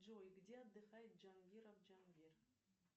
джой где отдыхает джангиров джангир